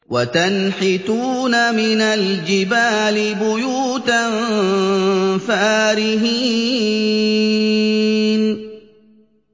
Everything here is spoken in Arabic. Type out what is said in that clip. وَتَنْحِتُونَ مِنَ الْجِبَالِ بُيُوتًا فَارِهِينَ